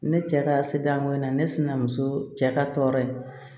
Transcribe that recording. Ne cɛ ka se danko in na ne sinamuso cɛ ka tɔɔrɔ ye